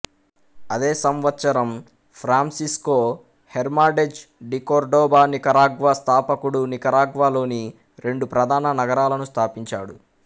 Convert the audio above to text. అదే సంవత్సరం Francisco Hernandez de Cordoba Nicaragua స్థాపకుడునికరాగ్వా లోని రెండు ప్రధాన నగరాలను స్థాపించాడు